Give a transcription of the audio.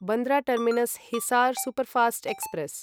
Bandra terminus Hisar superfast express